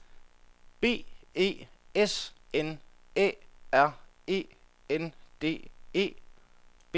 B E S N Æ R E N D E